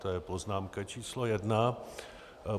To je poznámka číslo jedna.